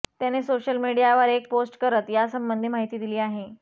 त्याने सोशल मीडियावर एक पोस्ट करत यासंबंधी माहिती दिली आहे